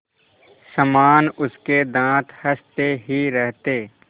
समान उसके दाँत हँसते ही रहते